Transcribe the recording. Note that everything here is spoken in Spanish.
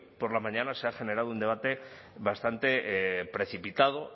por la mañana se ha generado un debate bastante precipitado